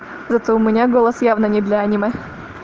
зато у меня голос явно не для аниме